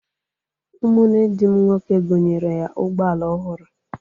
Ụmụ nne di m nwoke gonyere ya ụgbọala ọhụrụ.